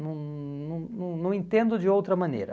Não não não não entendo de outra maneira.